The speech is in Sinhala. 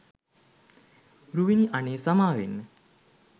රුවිනි අනේ සමාවෙන්න